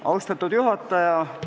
Austatud juhataja!